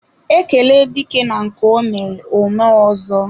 Ekele dike na nke ọ mere ọ mee ọzọ.